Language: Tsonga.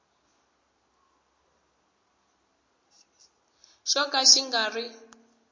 xo ka xi nga ri